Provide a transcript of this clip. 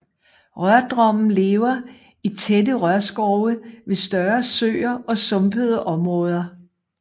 Rørdrummen lever i tætte rørskove ved større søer og sumpede områder